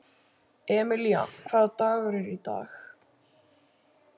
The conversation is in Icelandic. Emelía, hvaða dagur er í dag?